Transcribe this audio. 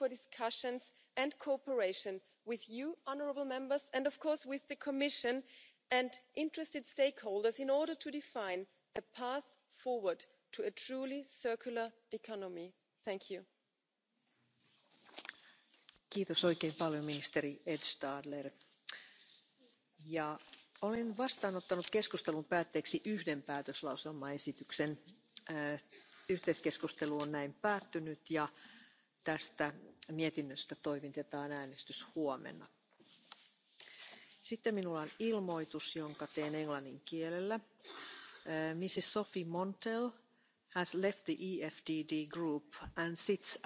mit dieser Problematik befasst, und es sind auch schon zahlreiche Schritte initiiert worden. Ich hoffe, Herr Kommissar Andriukaitis wird seine Redezeit hier nutzen, um auf diese noch detailliert einzugehen. Bei dieser Gelegenheit möchte ich mich bei ihm auch ganz ausdrücklich für seinen Einsatz und sein Engagement bedanken. Mein Dank gilt aber auch den Verantwortlichen in den europäischen Agenturen, die in diesem Bereich tätig sind, für ihre gute und fruchtvolle Zusammenarbeit. Dieser Bericht soll die Arbeit der Kommission und der Mitgliedstaaten unterstützen und vor allem vorantreiben. Wir haben hier eine Reihe genereller Vorschläge, aber ganz besonders auch eine Vielzahl von konkreten Anregungen und Forderungen erarbeitet. Um zu verhindern, dass neben all dem menschlichen Leid durch Krankheit und vorzeitige Todesfälle im Jahr 2050 der wirtschaftliche